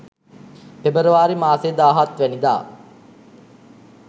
පෙබරවාරි මාසේ දාහත් වැනිදා.